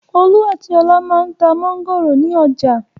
Olú àti Ọlá máa ń ta mángòrò ní ọjà.